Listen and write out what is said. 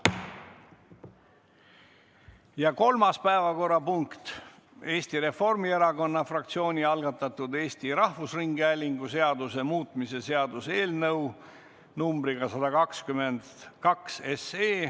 Ja kolmas päevakorrapunkt: Eesti Reformierakonna fraktsiooni algatatud Eesti Rahvusringhäälingu seaduse muutmise seaduse eelnõu numbriga 122.